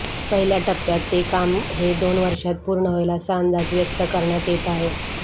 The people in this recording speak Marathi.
पहिल्या टप्प्याते काम हे दोन वर्षांत पूर्ण होईल असा अंदाज व्यक्त करण्यात येत आहे